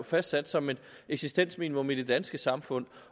fastsat som et eksistensminimum i det danske samfund